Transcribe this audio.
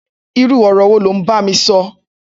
Irù ọrọ wó ló n bámí sọ